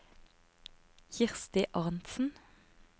Kirsti Arntsen